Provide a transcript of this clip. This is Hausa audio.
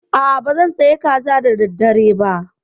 A'a, ba zan soya kaza da daddare ba.